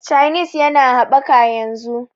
chanis ya na habbaka yanzu